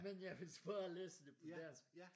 Men jeg vil bare læse det på dansk